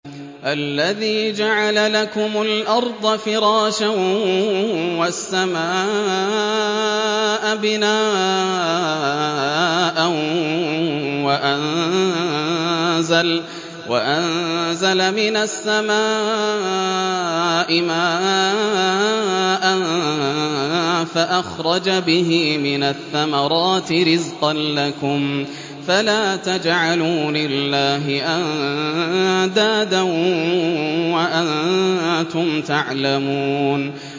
الَّذِي جَعَلَ لَكُمُ الْأَرْضَ فِرَاشًا وَالسَّمَاءَ بِنَاءً وَأَنزَلَ مِنَ السَّمَاءِ مَاءً فَأَخْرَجَ بِهِ مِنَ الثَّمَرَاتِ رِزْقًا لَّكُمْ ۖ فَلَا تَجْعَلُوا لِلَّهِ أَندَادًا وَأَنتُمْ تَعْلَمُونَ